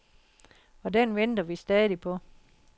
Og den venter vi stadig på.